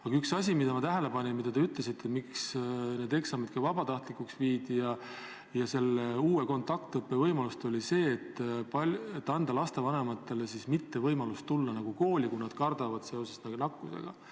Aga üks asi, mida ma tähele panin, mida te ütlesite eksamite vabatahtlikuks tegemise ja uue kontaktõppe võimaluse kohta, oli see, et lapsevanematele tuleks anda võimalus lasta lapsel mitte kooli tulla, kui nad nakkuse tõttu kardavad.